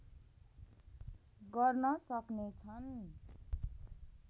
गर्न सक्ने छन्